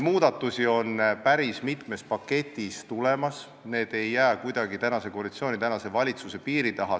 Muudatused tulevad päris mitme paketina, need ei jää kuidagi praeguse koalitsiooni ja valitsuse piiri taha.